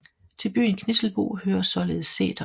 Til byen Knisselbo hører ligeledes sætere